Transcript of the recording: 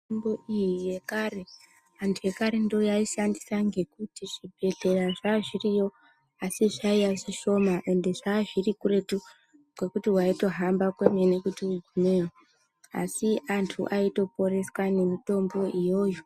Mitombo iyi yekare antu ekare ndoyaaishandisa ngekuti zvibhedhlera zvazviriyo asi zvaiya zvishoma ende zvazviri kuretu kwekuti waitohamba kwemene kuti ugumeyo asi antu aitoporeswa nemitombo iyoyo.